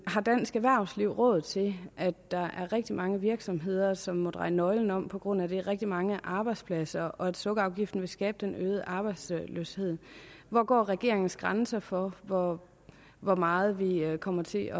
har dansk erhvervsliv råd til at der er rigtig mange virksomheder som må dreje nøglen om på grund af det at rigtig mange arbejdspladser og at sukkerafgiften vil skabe den øgede arbejdsløshed hvor går regeringens grænse for hvor hvor meget vi vi kommer til